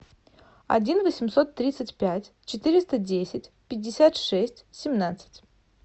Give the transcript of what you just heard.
один восемьсот тридцать пять четыреста десять пятьдесят шесть семнадцать